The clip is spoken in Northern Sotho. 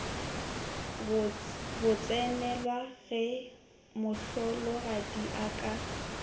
botsenelwa ge mohlologadi a ka